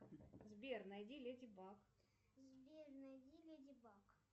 сбер найди леди баг